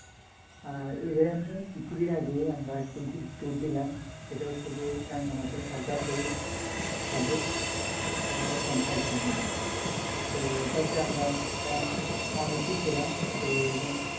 হ্যাঁ even কিছুদিন আগে আমরা tour দিলাম সেটা হচ্ছে যে রাঙ্গামাটি খাগড়াছড়ি সাজকে friend circle মিলে তো ওটাতে আমরা ও আচ্ছা আচ্ছা অনেকেই ছিলাম